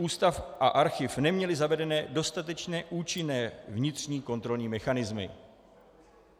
Ústav a archiv neměly zavedeny dostatečně účinné vnitřní kontrolní mechanismy.